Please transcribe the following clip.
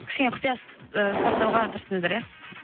кішкене құпия і сақтауға тырыстыңыздар иә